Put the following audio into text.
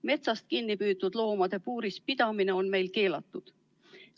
Metsast kinni püütud loomade puuris pidamine on meil keelatud.